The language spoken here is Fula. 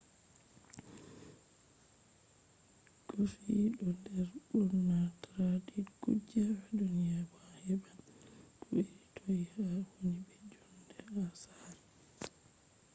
coffee ɗo der ɓurna traded kuje ha duniya bo a heɓan ko iri toi ha a woni be jonde ha sare